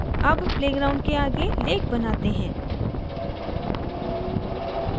अब playground के आगे lake बनाते हैं